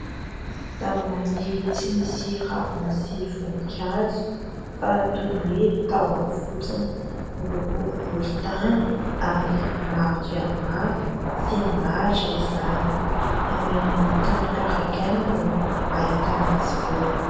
Zava-maniry tsy misy ravina sy voninkazo fa toy ny hoe tahoany fotsiny. Miloko volon-tany ary maro dia maro sy milatra izany any amin'ny tany karakaina no ahitana azy reo.